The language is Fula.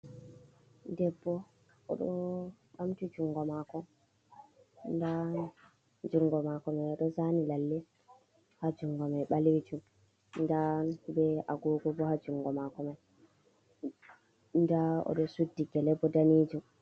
Debbo o ɗo ɓamti jungo maako, ndaa jungo maako mai o ɗo zani lalle haa jungo mai balejum, ndaa bee agogo bo haa jungo maako mai, ndaa o ɗo suddi gele boo daneejum.